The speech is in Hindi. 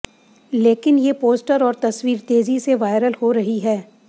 लेकिन ये पोस्टर और तस्वीर तेज़ी से वायरल हो रही है